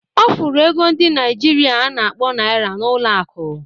Ọ fụrụ ego ndi Naịjirịa a na-akpọ naira n'ụlọ akụ